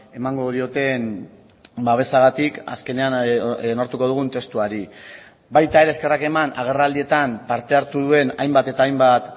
emango dioten babesagatik azkenean onartuko dugun testuari baita ere eskerrak eman agerraldietan parte hartu duen hainbat eta hainbat